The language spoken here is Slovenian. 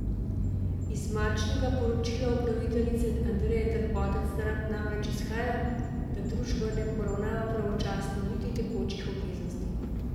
Iz marčnega poročila upraviteljice Andreje Terpotec namreč izhaja, da družba ne poravnava pravočasno niti tekočih obveznosti.